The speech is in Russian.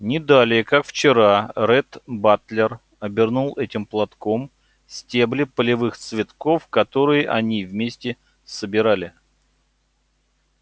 не далее как вчера ретт батлер обернул этим платком стебли полевых цветков которые они вместе собирали